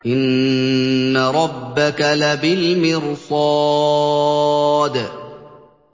إِنَّ رَبَّكَ لَبِالْمِرْصَادِ